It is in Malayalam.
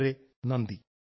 വളരെ നന്ദി